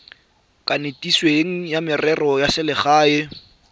kanisitsweng wa merero ya selegae